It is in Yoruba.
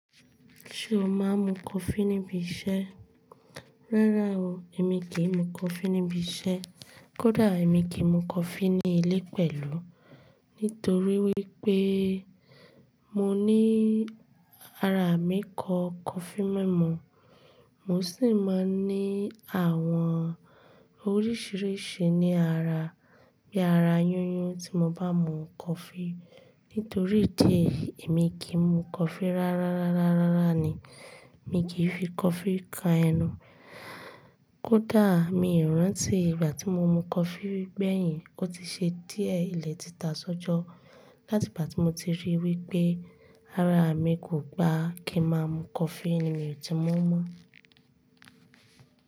Ṣé o máa ń mu coffee níbi iṣẹ́? Rárá o, èmi kì í mu coffee níbi iṣẹ́. Kódà èmi kì í mu coffee ní ilé pẹ̀lú. Nítorí wípé mo ní ara mi kọ coffee mimu. Mo sì máa ń ní àwọn oríṣìíríṣìí ní ara bí ara yíyún tí mo bá mu coffee. Nítorí idí ẹ̀yi, èmi kì í mu coffee rárá, rárá, rárá, rárá ni. Èmi kì í fi coffee kan ẹnu. Kódà mi ò rántí ìgbà tí mo mu coffee gbẹ̀yìn, ó ti ṣe díẹ̀ ilẹ̀ ti ta sọ́jọ́. Látìgbà tí mo ti rí wípé ara mi kò gba kí n máa mu coffee ni mi ò ti mu mọ́.